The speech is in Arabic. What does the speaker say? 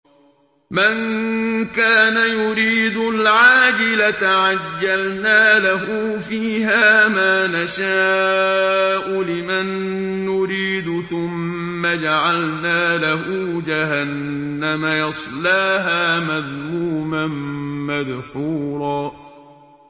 مَّن كَانَ يُرِيدُ الْعَاجِلَةَ عَجَّلْنَا لَهُ فِيهَا مَا نَشَاءُ لِمَن نُّرِيدُ ثُمَّ جَعَلْنَا لَهُ جَهَنَّمَ يَصْلَاهَا مَذْمُومًا مَّدْحُورًا